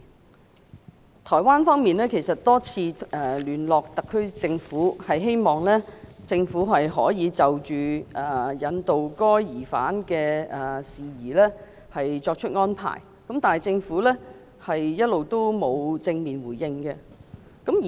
其實，台灣當局已多次聯絡特區政府，希望就引渡該疑犯的事宜，港方可以作出安排，但一直未獲正面回應。